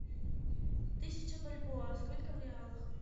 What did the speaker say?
тысяча бальбоа сколько в реалах